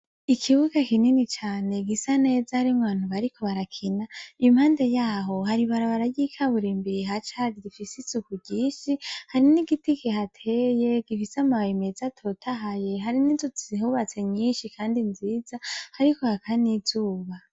Ikibuga kinini cane gisa neza harimwo abantu bariko barakina, impande yaho hari ibarabara ry'ikaburimbi rifise isuku ryinshi , hari n'igiti kihateye gifise amababi meza atotahaye hari n'inzu zihubatse nyinshi kandi nziza hariko haka n'izuba .